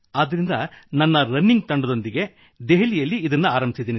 ಆದ್ದರಿಂದ ನನ್ನ ರನ್ನಿಂಗ್ ತಂಡದೊಂದಿಗೆ ದೆಹಲಿಯಲ್ಲಿ ಇದನ್ನು ಆರಂಭಿಸಿದೆ